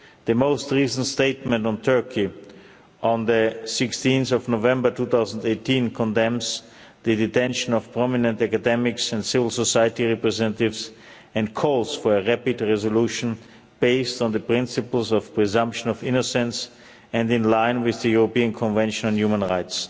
The most recent statement on Turkey on 16 November 2018 condemns the detention of prominent academics and civil society representatives and calls for a rapid resolution based on the principles of presumption of innocence and in line with the European Convention on Human Rights.